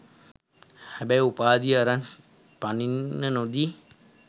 හැබැයි උපාධි අරන් පනින්න නොදී